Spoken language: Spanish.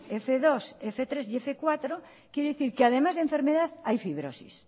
f dos f tres y f cuatro quiere decir que además de enfermedad hay fibrosis